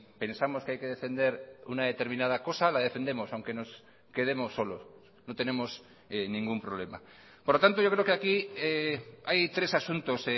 pensamos que hay que defender una determinada cosa la defendemos aunque nos quedemos solos no tenemos ningún problema por lo tanto yo creo que aquí hay tres asuntos